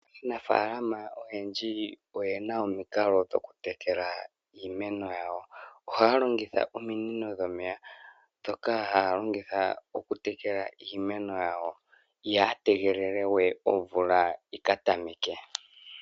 Aanafalama oyendji oye na omikalo dhayooloka dhoku tekela iimeno yawo. Oha ya longitha ominino dhomeya dhoka haya longitha oku tekela iimeno. Iha ya tegelele we omvula yi ka tameke.